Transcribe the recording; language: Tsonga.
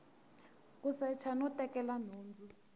ku secha no tekela nhundzu